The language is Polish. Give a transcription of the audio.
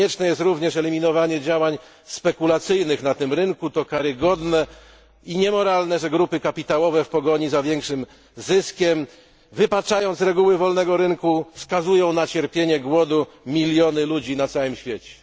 Konieczne jest również eliminowanie działań spekulacyjnych na tym rynku, to karygodne i niemoralne, że grupy kapitałowe w pogoni za większym zyskiem wypaczając reguły wolnego rynku, skazują na cierpienie głodu miliony ludzi na całym świecie.